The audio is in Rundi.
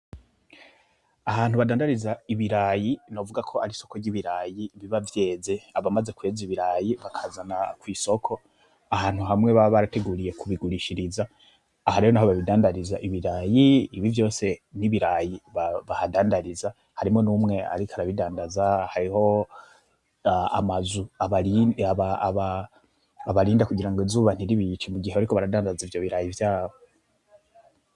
Ahantu badandariza ibirayi novuga ko ari soko ry'ibirayi biba vyeze abamaze kueza ibirayi bakazana kw'isoko ahantu hamwe babarateguriye kubigurishiriza ahariho nho babidandariza ibirayi ibi vyose n'ibirayi bahadandariza harimo n'umwe, ariko arabidandaza hariho amazu ba abarinda kugira ngo izubantiribiki mu gihe, ariko baradandaza ivyo biraye ivyabo.